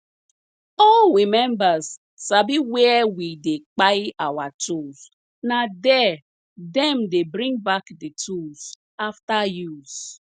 all we members sabi where we dey kpai our tools na there dem dey bring back the tools after use